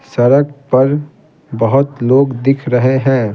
सड़क पर बहुत लोग दिख रहे हैं।